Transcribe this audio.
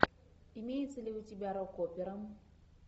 имеется ли у тебя рок опера